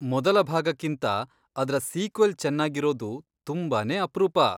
ಮೊದಲ ಭಾಗಕ್ಕಿಂತ ಅದ್ರ ಸೀಕ್ವೆಲ್ ಚೆನ್ನಾಗಿರೋದು ತುಂಬಾನೇ ಅಪ್ರೂಪ.